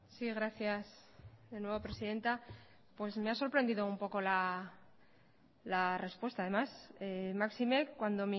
sí gracias de nuevo presidenta pues me ha sorprendido un poco la respuesta además máxime cuando